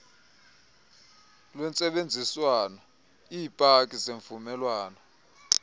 lwentsebenziswano iipaki zemvumelwano